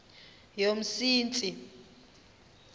yomsintsi